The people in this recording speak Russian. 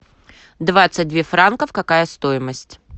двадцать две франков какая стоимость